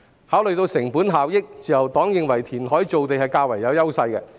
考慮到成本效益，自由黨認為填海造地較有優勢。